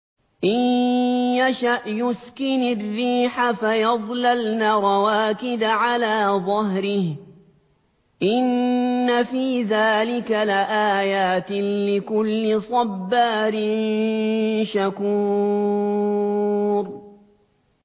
إِن يَشَأْ يُسْكِنِ الرِّيحَ فَيَظْلَلْنَ رَوَاكِدَ عَلَىٰ ظَهْرِهِ ۚ إِنَّ فِي ذَٰلِكَ لَآيَاتٍ لِّكُلِّ صَبَّارٍ شَكُورٍ